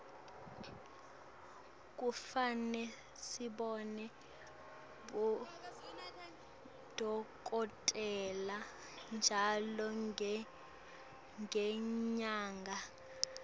kufane sibone bodokotela ntjalo ngenyanga